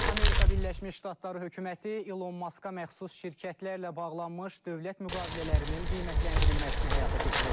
Amerika Birləşmiş Ştatları hökuməti Elon Maska məxsus şirkətlərlə bağlanmış dövlət müqavilələrinin qiymətləndirilməsini həyata keçirəcək.